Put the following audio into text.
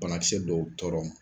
Banakisɛ dow tɔɔrɔ ma